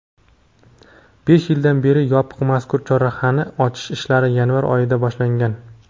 besh yildan beri yopiq mazkur chorrahani ochish ishlari yanvar oyida boshlangan.